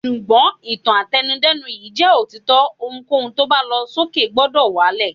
Ṣùgbọ́n, ìtàn àtẹnu-dẹ́nu yìí jẹ́ òtítọ́, ohunkóhun tó bá lọ sókè gbúdọ̀ wá lẹ̀.